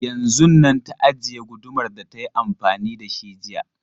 Yanzun nan ta ajiye gudumar da ta yi amfani da shi jiya.